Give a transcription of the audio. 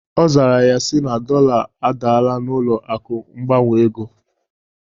Ọ zara ya sị na dọla adalla n'ụlọ akụ mgbanwe ego